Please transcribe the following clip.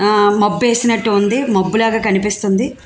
ఆ మబ్బు ఎసినట్టు ఉంది మబ్బు లాగా కనిపిస్తుంది.